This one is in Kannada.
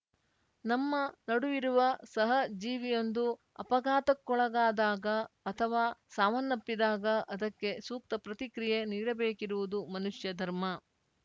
ನಮ್ಮ ನಡುವಿರುವ ಸಹ ಜೀವಿಯೊಂದು ಅಪಘಾತಕ್ಕೊಳಗಾದಾಗ ಅಥವಾ ಸಾವನ್ನಪ್ಪಿದಾಗ ಅದಕ್ಕೆ ಸೂಕ್ತ ಪ್ರತಿಕ್ರಿಯೆ ನೀಡಬೇಕಿರುವುದು ಮನುಷ್ಯ ಧರ್ಮ